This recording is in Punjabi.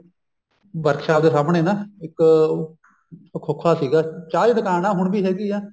workshop ਦੇ ਸਾਹਮਣੇ ਨਾ ਇੱਕ ਖੋਖਾ ਸੀਗਾ ਚਾਹ ਦੀ ਦੁਕਾਨ ਨਾ ਹੁਣ ਵੀ ਹੈਗੀ ਐ